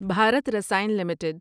Bharat Rasayan limited